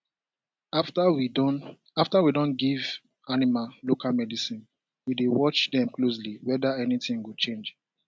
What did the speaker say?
after we don after we don give animal local medicine we dey watch dem closely whether anything go change